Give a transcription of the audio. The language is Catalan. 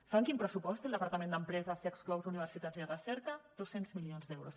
saben quin pressupost té el departament d’empresa si exclous universitats i recerca dos cents milions d’euros